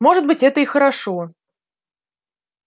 может быть это и хорошо